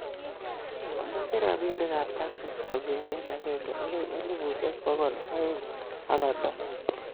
Amache robinik kab Texas kongete agenge agoi elubushek bokol aeng ago konom